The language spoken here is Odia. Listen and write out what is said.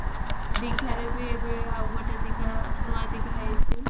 ଦିଘା ରେ ବି ଏବେ ଆଉ ଗୋଟେ ଦିଘା ନୂଆ ଦିଘା ହେଇଛି